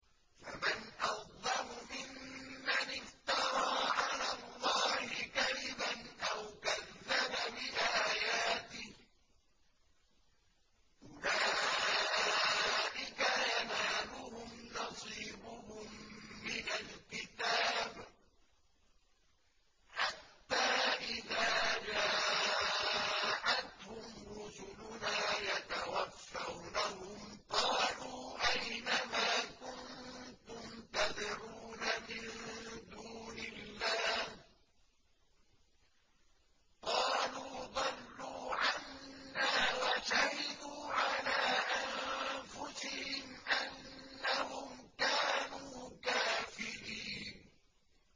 فَمَنْ أَظْلَمُ مِمَّنِ افْتَرَىٰ عَلَى اللَّهِ كَذِبًا أَوْ كَذَّبَ بِآيَاتِهِ ۚ أُولَٰئِكَ يَنَالُهُمْ نَصِيبُهُم مِّنَ الْكِتَابِ ۖ حَتَّىٰ إِذَا جَاءَتْهُمْ رُسُلُنَا يَتَوَفَّوْنَهُمْ قَالُوا أَيْنَ مَا كُنتُمْ تَدْعُونَ مِن دُونِ اللَّهِ ۖ قَالُوا ضَلُّوا عَنَّا وَشَهِدُوا عَلَىٰ أَنفُسِهِمْ أَنَّهُمْ كَانُوا كَافِرِينَ